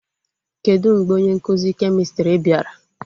Kedụ mgbe onye nkụzi kemịstrị bịara?